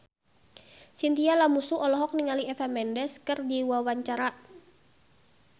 Chintya Lamusu olohok ningali Eva Mendes keur diwawancara